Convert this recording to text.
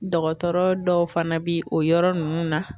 Dɔgɔtɔrɔ dɔw fana bi o yɔrɔ ninnu na